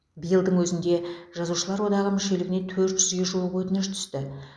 биылдың өзінде жазушылар одағы мүшелігіне төрт жүзге жуық өтініш түсті